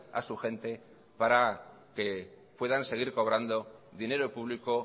a su gente para que puedan seguir cobrando dinero público